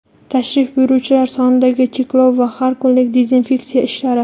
tashrif buyuruvchilar sonidagi cheklov va har kunlik dezinfeksiya ishlari.